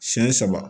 Siyɛn saba